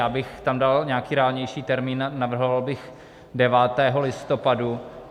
Já bych tam dal nějaký reálnější termín, navrhoval bych 9. listopadu.